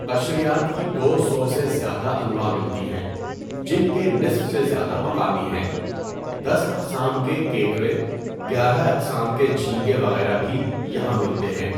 قشریات کی دو سو سے زیادہ انواع ملتی ہیں جن کے نصف سے زیادہ مقامی ہیں۔ دس اقسام کے کیکڑے، گیارہ اقسام کے جھینگے وغیرہ بھی یہاں ملتے ہیں۔